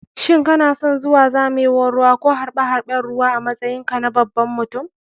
Shin kanason zuwa zamewan ruwa ko harɓe harɓen ruwa a matsayin ka baban mutum?